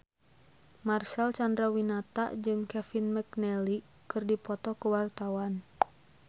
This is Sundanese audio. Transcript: Marcel Chandrawinata jeung Kevin McNally keur dipoto ku wartawan